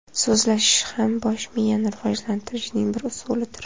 So‘zlashish ham bosh miyani rivojlantirishning bir usulidir.